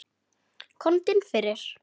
Komdu inn fyrir.